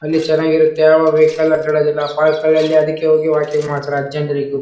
ಅಲ್ಲಿ ಚೆನ್ನಾಗಿರುತ್ತೆ ಯಾವಾಗ್ ಬೇಕಾದ್ರು ಅಡ್ಡಾಡುದಿಲ್ಲ ಪರ್ಕಗಳಲ್ಲಿ ಅದಕ್ಕೆ ಹೋಗಿ ವಾಕಿಂಗ್ ಮಾಡ್ತಾರೆ. ಅಜ್ಜಂದಿರಿಗೂ--